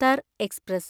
Thar express